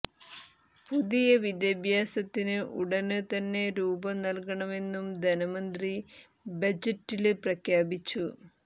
പുതിയ വിദ്യാഭ്യസ നയത്തിന് ഉടന് തന്നെ രൂപം നല്കുമെന്നും ധനമന്ത്രി ബജറ്റില് പ്രഖ്യാപിച്ചു